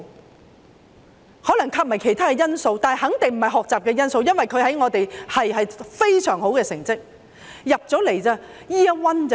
或許還有其他因素，但肯定不是學習因素，因為他在學系內的成績十分優秀。